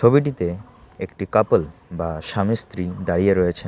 ছবিটিতে একটি কাপল বা স্বামী স্ত্রী দাঁড়িয়ে রয়েছেন।